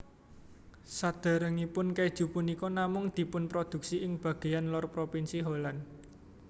Saderengipun keju punika namung dipunproduksi ing bageyan lor propinsi Holland